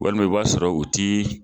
Walima i b'a sɔrɔ u ti.